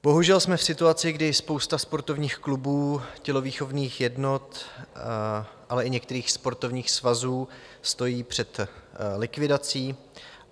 Bohužel jsme v situaci, kdy spousta sportovních klubů, tělovýchovných jednot, ale i některých sportovních svazů stojí před likvidací.